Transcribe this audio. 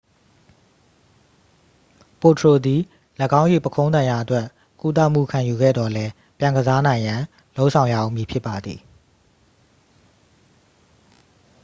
ပိုထရို သည် ၎င်း၏ပုခုံးဒဏ်ရာအတွက် ကုသမှုခံယူခဲ့သော်လည်း ပြန်ကစားနိုင်ရန် လုပ်ဆောင်ရဦးမည်ဖြစ်ပါသည်